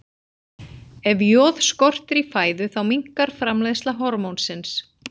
Ef joð skortir í fæðu þá minnkar framleiðsla hormónsins.